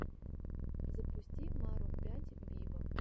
запусти марун пять виво